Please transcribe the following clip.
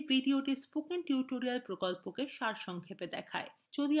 এই video spoken tutorial প্রকল্পকে সারসংক্ষেপে দেখায়